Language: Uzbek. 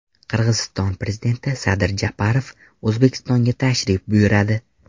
Qirg‘iziston prezidenti Sadir Japarov O‘zbekistonga tashrif buyuradi.